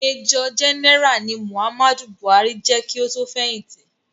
Major general ni Muhammadu Buhari je ki o tó fẹ̀hìtì.